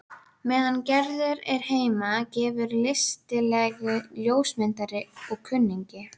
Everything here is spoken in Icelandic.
Meðan Gerður er heima hefur listilegur ljósmyndari og kunningi